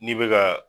N'i bɛ ka